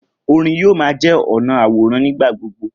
Orin yoo ma jẹ ọna aworan nigbagbogbo.